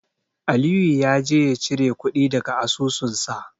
Aliyu ya je ya cire kuɗi daga asusunsa.